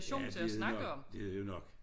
Ja det er det nok det er det jo nok